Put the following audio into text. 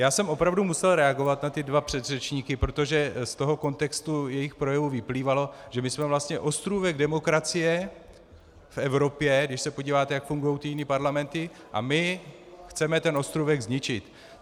Já jsem opravdu musel reagovat na ty dva předřečníky, protože z toho kontextu jejich projevu vyplývalo, že my jsme vlastně ostrůvek demokracie v Evropě, když se podíváte, jak fungují ty jiné parlamenty, a my chceme ten ostrůvek zničit.